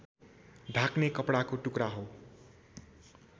ढाक्ने कपडाको टुक्रा हो